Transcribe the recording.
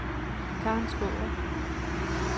Karen Skaarup